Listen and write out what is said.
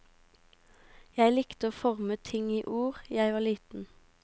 Jeg likte å forme ting i ord jeg var liten.